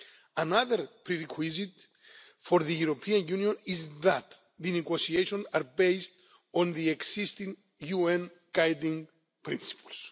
Another prerequisite for the European Union is that the negotiations are based on the existing UN Guiding Principles.